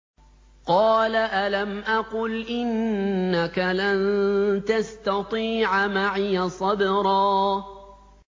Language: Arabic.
قَالَ أَلَمْ أَقُلْ إِنَّكَ لَن تَسْتَطِيعَ مَعِيَ صَبْرًا